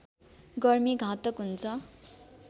गर्मी घातक हुन्छ